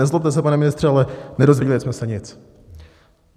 Nezlobte se, pane ministře, ale nedozvěděli jsme se nic.